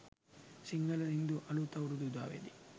සිංහල හින්දු අලුත් අවුරුදු උදාවේදී